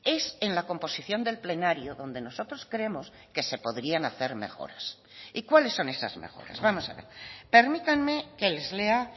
es en la composición del plenario donde nosotros creemos que se podrían hacer mejoras y cuáles son esas mejoras vamos a ver permítanme que les lea